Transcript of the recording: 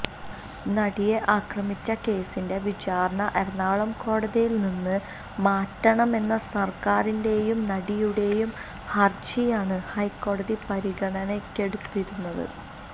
നടിയെ ആക്രമിച്ച കേസിന്റെ വിചാരണ എറണാകുളം കോടതിയില് നിന്ന് മാറ്റണമെന്ന സര്ക്കാരിന്റേയും നടിയുടേയും ഹരജിയാണ് ഹൈക്കോടതി പരിഗണനയ്ക്കെടുത്തിരുന്നത്